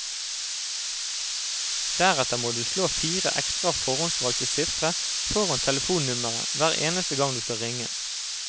Deretter må du slå fire ekstra forhåndsvalgte sifre foran telefonnummeret hver eneste gang du skal ringe.